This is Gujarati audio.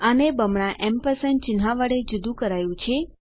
આને બમણા એમ્પરસેંડ ચિન્હ વડે જુદું કરાયું છે